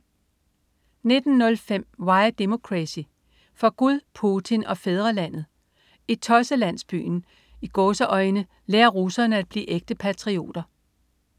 19.05 Why Democracy: For Gud, Putin og fædrelandet. I "Tosselandsbyen" lærer russerne at blive ægte patrioter